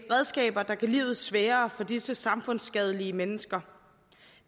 redskaber der gør livet sværere for disse samfundsskadelige mennesker